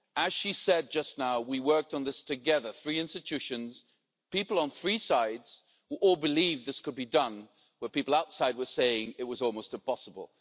As she said just now, we worked on this together three institutions, people on three sides, who all believed this could be done when people outside were saying it was almost impossible.